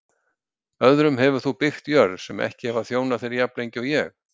Öðrum hefur þú byggt jörð sem ekki hafa þjónað þér jafnlengi og ég.